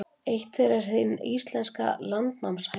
Eitt þeirra er hin íslenska landnámshæna.